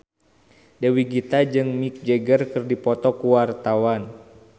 Dewi Gita jeung Mick Jagger keur dipoto ku wartawan